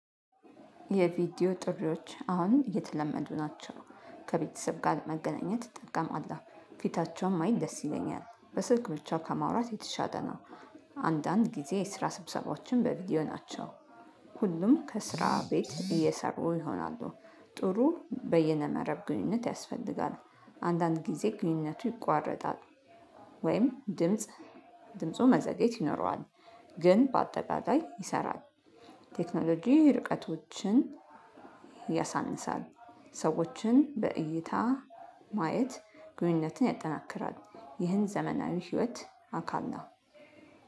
የቪዲዮ ጥሪዎች አሁን እየተለመዱ ናቸው። ከቤተሰብ ጋር መገናኘት ጥቅም አለሁ። ባይ ደስ ይለኛል በስልክ ብቻ ከማውራት የተሻጠ ነው። አንዳንድ ጊዜ የስራ ስብሰባዎችን በቪዲዮ ናቸው። ሁሉም ከስራ ቤት እየሰሩ ይሆናሉ። ጥሩ በይነመረብ ግንኙነት ያስፈልጋል። አንዳንድ ጊዜ ግንኙነቱ ይቋረጣል። ወይም ድምጽ ድምፁ መዘግየት ይኖረዋል። ግን በአጠቃላይ ይሰራል። ቴክኖሎጂ ርቀቶችን ያሳንሳል። ሰዎችን በእይታ ማየት ግንኙነትን ያጠናክራል። ይህን ዘመናዊ ህይወት አካል ነው።